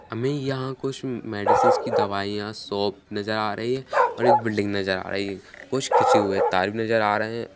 हमे यहाँ कुछ मेडिसिन्स की दवाइयां शॉप नजर आ रही है और एक बिल्डिंग नजर आ रही है कुछ खींचे हुए तार नजर आ रहे है।